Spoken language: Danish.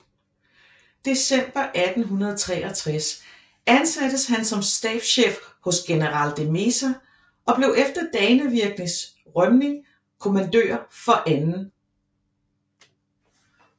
December 1863 ansattes han som stabschef hos general de Meza og blev efter Dannevirkes rømning kommandør for 2